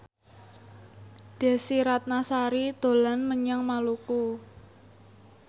Desy Ratnasari dolan menyang Maluku